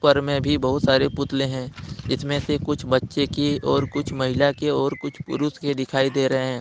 ऊपर में भी बहुत सारे पुतले हैं इसमें से कुछ बच्चे की और कुछ महिला के और कुछ पुरुष के दिखाई दे रहे हैं।